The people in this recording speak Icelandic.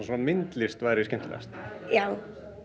myndlist væri skemmtilegust já